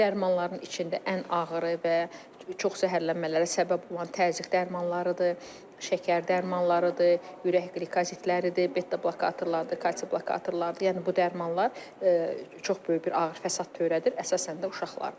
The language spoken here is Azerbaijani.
Dərmanların içində ən ağırı və çox zəhərlənmələrə səbəb olan təzyiq dərmanlarıdır, şəkər dərmanlarıdır, ürək qlikozitləridir, beta-blokatorlardır, kalsium blokatorlardır, yəni bu dərmanlar çox böyük bir ağır fəsad törədir, əsasən də uşaqlarda.